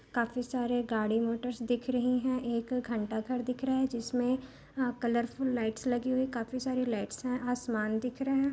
काफी सारे गाड़ी मोटर दिख रही है एक घंटा घर दिख रहा है जिसमें कलरफुल लाइट्स लगी हुई काफी सारी लाइट्स है आसमान दिख रहा है।